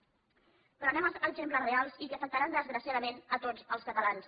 però anem als exemples reals i que afectaran desgraciadament a tots els catalans